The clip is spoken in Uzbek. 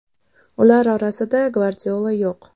Ular orasida Gvardiola yo‘q.